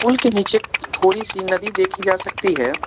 पुल के नीचे थोड़ी सी नदी देखी जा सकती है।